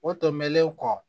O tɛmɛnen kɔ